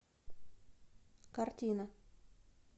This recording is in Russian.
картина